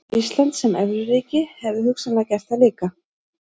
Ísland sem evruríki hefðu hugsanlega gert það líka.